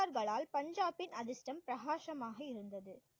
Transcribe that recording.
சர்க்கார்களால் பஞ்சாப்பின் அதிர்ஷ்டம் பிரகாசமாக இருந்தது.